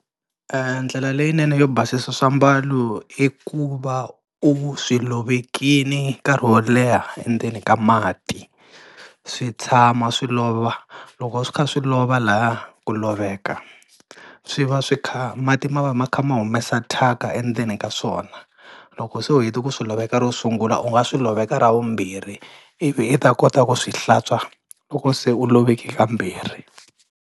E ndlela leyinene yo basisa swiambalo i ku va u swi lovekile nkarhi wo leha endzeni ka mati, swi tshama swi lova loko swi kha swi lova lahaya ku loveka swi va swi kha mati ma va ma kha ma humesa thyaka endzeni ka swona. Loko se u heta ku swi loveka ro sungula u nga swi loveka ra vumbirhi, ivi i ta kota ku swi hlantswa loko se u loveke kambirhi.